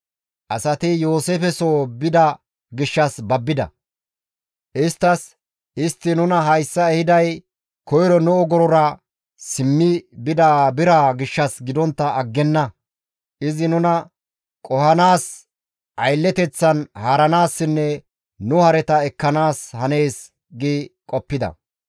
Asati Yooseefe soo bida gishshas babbida; isttas, «Istti nuna hayssa ehiday koyro nu ogorora simmi bida biraa gishshas gidontta aggenna; izi nuna qohanaas aylleteththan haaranaassinne nu hareta ekkanaas hanees» gi qoppida.